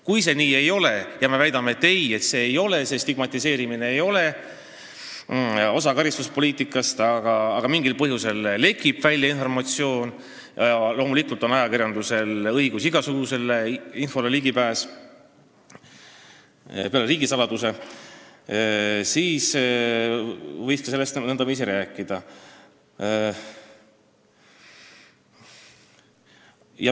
Kui see nii ei ole – ja me väidame, et nii see ei ole, stigmatiseerimine ei ole osa karistuspoliitikast –, aga mingil põhjusel informatsioon lekib välja – loomulikult on ajakirjandusel õigus ligi pääseda igasugusele infole peale riigisaladuse –, siis võiks sellest ka nõndaviisi rääkida.